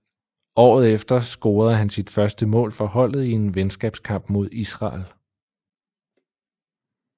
Året efter scorede han sit første mål for holdet i en venskabskamp mod Israel